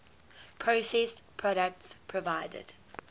processed products provided